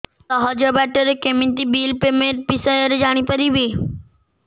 ସହଜ ବାଟ ରେ କେମିତି ବିଲ୍ ପେମେଣ୍ଟ ବିଷୟ ରେ ଜାଣି ପାରିବି